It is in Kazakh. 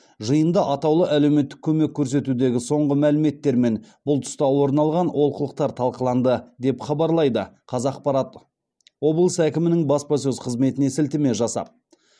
жиында атаулы әлеуметтік көмек көрсетудегі соңғы мәліметтер мен бұл тұста орын алған олқылықтар талқыланды деп хабарлайды қазақпарат облыс әкімінің баспасөз қызметіне сілтеме жасап